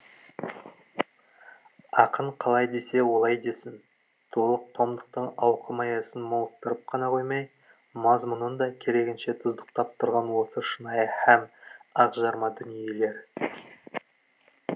ақын қалай десе олай десін толық томдықтың ауқым аясын молықтырып қана қоймай мазмұнын да керегінше тұздықтап тұрған осы шынайы һәм ақжарма дүниелер